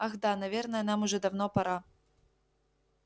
ах да наверное нам уже давно пора